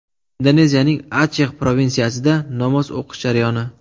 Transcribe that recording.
Indoneziyaning Achex provinsiyasida namoz o‘qish jarayoni.